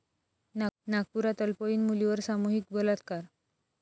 नागपुरात अल्पवयीन मुलीवर सामूहिक बलात्कार